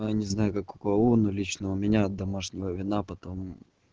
а не знаю как у кого ну лично у меня от домашнего вина потом